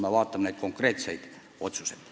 Need olid konkreetsed otsused.